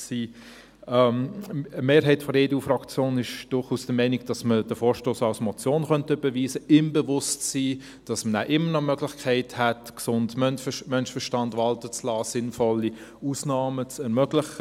Eine Mehrheit der EDU-Fraktion ist durchaus der Meinung, dass man den Vorstoss als Motion überweisen könnte, im Bewusstsein, dass man danach immer noch die Möglichkeit hat, den gesunden Menschenverstand walten zu lassen und sinnvolle Ausnahmen zu ermöglichen.